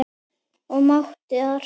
og mátar.